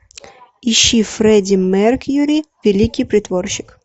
ищи фредди меркьюри великий притворщик